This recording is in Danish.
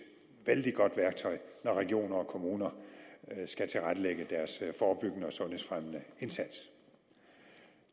vældig godt værktøj når regioner og kommuner skal tilrettelægge deres forebyggende og sundhedsfremmende indsats